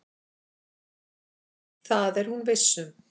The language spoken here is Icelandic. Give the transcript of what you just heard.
Það er hún viss um.